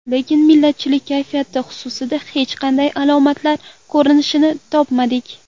Lekin millatchilik kayfiyati xususida hech qanday alomatlar ko‘rinishini topmadik.